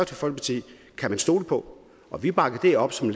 folkeparti kan man stole på og vi bakker dét op som